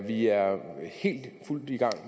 vi er i fuld gang